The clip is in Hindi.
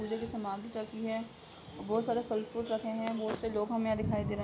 पूजा के सामान भी रखे है। बोहोत सारे फल फ्रूट रखे हैं। बोहोत से लोग हमे यहाँ दिखाई दे रहे हैं।